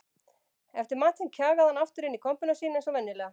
Eftir matinn kjagaði hann aftur inn í kompuna sína eins og venjulega.